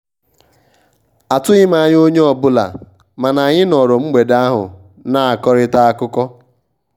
atughị m anya onye ọ bụla mana anyị nọrọ mgbede ahụ na-akọrịta akụkọ.